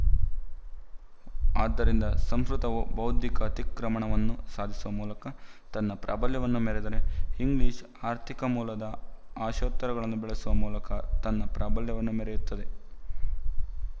ಆದ್ದರಿಂದ ಸಂಸ್ಕೃತ ವು ಬೌದ್ಧಿಕ ಅತಿಕ್ರಮಣವನ್ನು ಸಾಧಿಸುವ ಮೂಲಕ ತನ್ನ ಪ್ರಾಬಲ್ಯವನ್ನು ಮೆರೆದರೆ ಇಂಗ್ಲಿಶು ಆರ್ಥಿಕ ಮೂಲದ ಆಶೋತ್ತರಗಳನ್ನು ಬೆಳೆಸುವ ಮೂಲಕ ತನ್ನ ಪ್ರಾಬಲ್ಯವನ್ನು ಮೆರೆಯುತ್ತದೆ